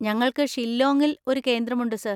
ഞങ്ങൾക്ക് ഷില്ലോങ്ങിൽ ഒരു കേന്ദ്രമുണ്ട് സർ.